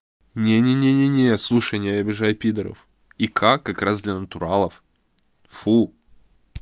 не не не не не слушай не обижай пидоров и как как раз для натуралов фу